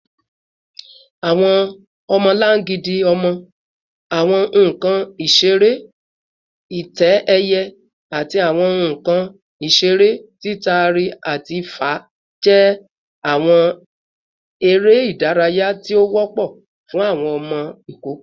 Awọn ọmọlangidi ọmọ, awọn nkan isere itẹ-ẹiyẹ, ati awọn nkan isere titari-ati-fa jẹ awọn ere idaraya ti o wọpọ fun awọn ọmọ ikoko